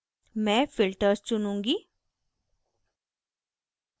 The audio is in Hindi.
मैं filters चुनूँगी